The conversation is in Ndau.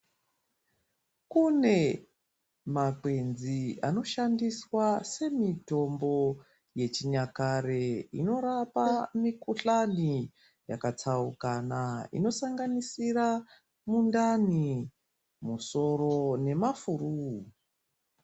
Kune makwenzi anoshandiswa semitombo yechinyakare, inorapa mikhuhlani yakatsaukana, inosanganisira mundani, musoro nemafuruu.